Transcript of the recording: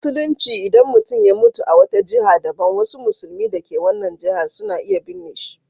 A Musulunci, idan mutum ya mutu a wata jiha daban, wasu musulmi da ke wannan jihar suna iya binne shi.